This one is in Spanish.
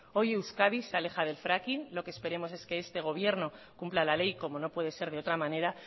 hoy euskadi se aleja del fracking lo que esperemos que este gobierno cumpla la ley como no puede ser de otra manera